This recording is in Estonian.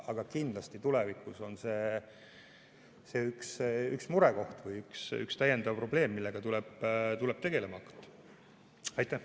Aga kindlasti on see tulevikus üks murekoht või üks täiendav probleem, millega tuleb tegelema hakata.